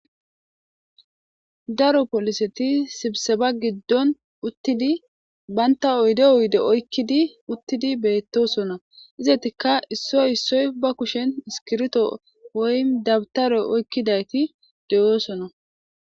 daro poliseti sibise ba giddon uttidi banta oyde uyde okkiduttidi beettosona izetika issoy issoy ba kushen iskirito woy dabtare oykkidayti deyoosona